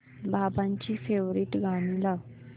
बाबांची फेवरिट गाणी लाव